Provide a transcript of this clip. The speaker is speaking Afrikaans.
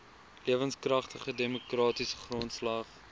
lewenskragtige demokratiese grondslag